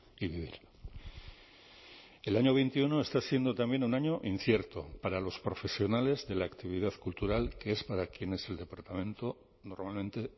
y vivir el año veintiuno está siendo también un año incierto para los profesionales de la actividad cultural que es para quienes el departamento normalmente